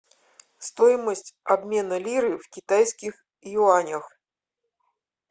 стоимость обмена лиры в китайских юанях